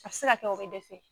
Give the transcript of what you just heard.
A be se ka kɛ o be dɛsɛ